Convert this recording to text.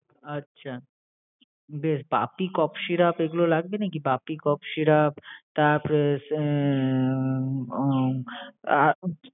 আচ্ছা! Then কাশি syrup এগুলো লাগবে নাকি? কাশি syrup তারপরে উম উহ